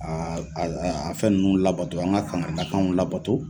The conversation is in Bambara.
a fɛn ninnu labɔto an ka kankaridakanw labato.